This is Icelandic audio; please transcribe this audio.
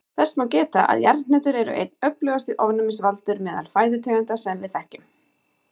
Þess má geta að jarðhnetur eru einn öflugasti ofnæmisvaldur meðal fæðutegunda sem við þekkjum.